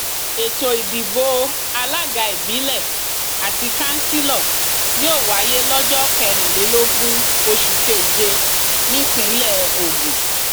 ètò ìdìbò alága ìbílẹ àti kanṣílò yóò wáyé lọjọ kẹrìnlélógún oṣù keje nípínlẹ ogun